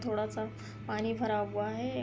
थोड़ा सा पानी भरा हुआ है।